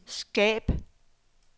skab